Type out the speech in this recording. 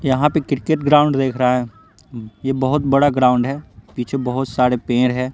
यहाँ पे cricket ground देख रहा है ये बहुत बड़ा ग्राउंड है पीछे बहुत सारे पेड़ हैं।